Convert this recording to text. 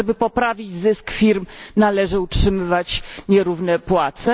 Czy żeby poprawić zysk firm należy utrzymywać nierówne płace?